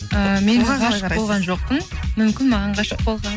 ыыы мен ғашық болған жоқпын мүмкін маған ғашық болған